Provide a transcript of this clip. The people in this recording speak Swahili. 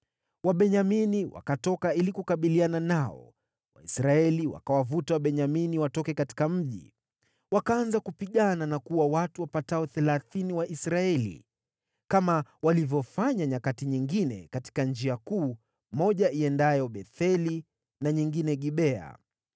Wabenyamini wakatoka ili kukabiliana nao, Waisraeli wakawavuta Wabenyamini watoke katika mji. Wakaanza kupigana na kuua watu wapatao thelathini wa Israeli, kama walivyofanya nyakati nyingine, katika njia kuu, moja iendayo Betheli na nyingine Gibea.